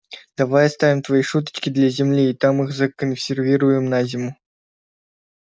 давай оставим твои шуточки для земли и там их законсервируем на зиму